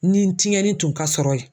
Ni tiɲɛni tun ka sɔrɔ yen.